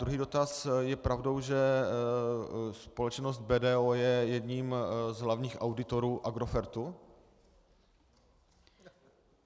Druhý dotaz: Je pravdou, že společnost BDO je jedním z hlavních auditorů Agrofertu?